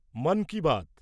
Mann Ki Baat